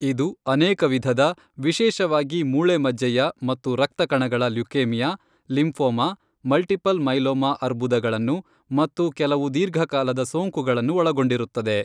ಇದು ಅನೇಕ ವಿಧದ, ವಿಶೇಷವಾಗಿ ಮೂಳೆ ಮಜ್ಜೆಯ ಮತ್ತು ರಕ್ತ ಕಣಗಳ ಲ್ಯುಕೇಮಿಯಾ, ಲಿಂಫೋಮಾ, ಮಲ್ಟಿಪಲ್ ಮೈಲೋಮಾ ಅರ್ಬುದಗಳನ್ನು, ಮತ್ತು ಕೆಲವು ದೀರ್ಘಕಾಲದ ಸೋಂಕುಗಳನ್ನು ಒಳಗೊಂಡಿರುತ್ತದೆ.